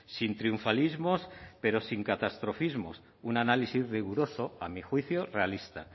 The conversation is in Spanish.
sin triunfalismos pero sin catastrofismos un análisis riguroso a mi juicio realista